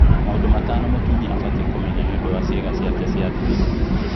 Maũndũ matano mũtumia abatie kũmenya nĩũndũ wa ciĩga ciake cia thiri